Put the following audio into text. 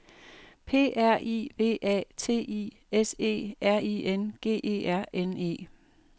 P R I V A T I S E R I N G E R N E